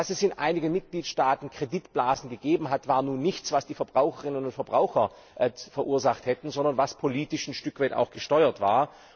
Dass es in einigen Mitgliedstaaten Kreditblasen gegeben hat, war nun nichts, was die Verbraucherinnen und Verbraucher verursacht hätten, sondern was politisch ein Stück weit auch gesteuert war.